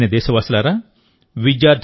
నా ప్రియమైన దేశవాసులారా